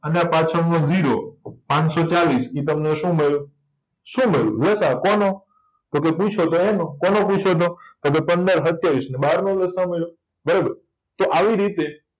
અને આ પાછણનો જીરો પાનસોચાલીસ ઇ તમને શું મળ્યું શું મળ્યું લસાઅ કોનો ટોકે પુયછોતો એનો કોનો પુયછોતો તો કે પંદર સત્યાવીસ ને બારનો લસાઅ મળ્યો તો આવી રીતે